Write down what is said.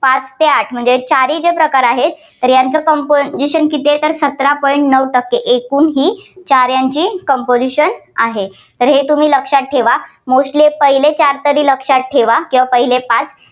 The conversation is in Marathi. पाच ते आठ. म्हणजे चारही प्रकार आहेत तर यांचं composition जे आहे, ते सतार point नऊ टक्के एकूण ही साऱ्यांची composition आहे. तर हे तुम्ही लक्षात ठेवा. mostly पहिले चार तरी लक्षात ठेवा, किंवा पहिले पाच